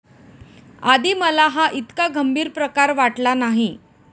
आधी मला हा ईतका गंभीर प्रकार वाटला नाही.